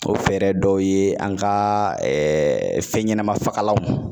O fɛɛrɛ dɔw ye , an ka fɛn ɲɛnaman fagalanw